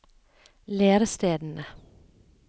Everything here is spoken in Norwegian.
lærestedene